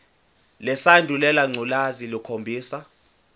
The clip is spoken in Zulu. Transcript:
lesandulela ngculazi lukhombisa